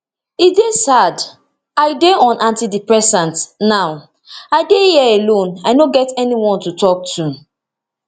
e dey sad i dey on antidepressants now and i dey here alone i no get anybody to tok to